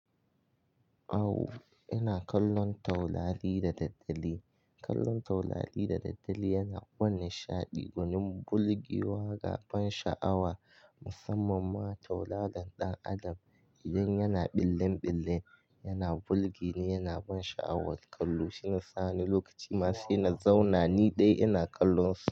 Awo, ina kallon taurari da daddare. Kallon taurari da daddare yana ban nishaɗi, gwanin burgewa ga ban sha'awa musamman ma tauraron ɗan Adam idan yana ɓillen ɓille yana burge ni yana ban sha'awar kallo shiyasa wani lokaci ma sai na zauna ni ɗaya ina kallonsu.